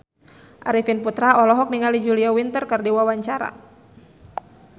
Arifin Putra olohok ningali Julia Winter keur diwawancara